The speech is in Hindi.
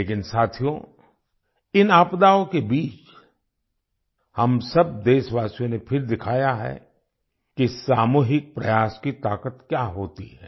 लेकिन साथियो इन आपदाओं के बीच हम सब देशवासियों ने फिर दिखाया है कि सामूहिक प्रयास की ताकत क्या होती है